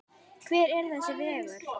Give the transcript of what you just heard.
Hver er þessi vegur?